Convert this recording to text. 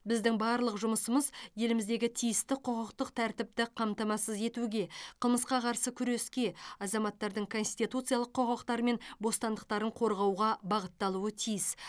біздің барлық жұмысымыз еліміздегі тиісті құқықтық тәртіпті қамтамасыз етуге қылмысқа қарсы күреске азаматтардың конституциялық құқықтары мен бостандықтарын қорғауға бағытталуы тиіс